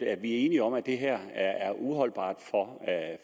er enige om at det her er uholdbart